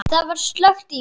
Það var slökkt í mér.